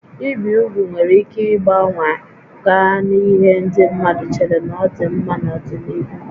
Ibi úgwù nwere ike gbanwee gaa n'ihe ndị mmadụ chere na ọ dị mma n'ọdịnihu